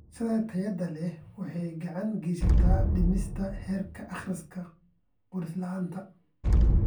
Waxbarashada tayada leh waxay gacan ka geysataa dhimista heerka akhris-qoris la'aanta .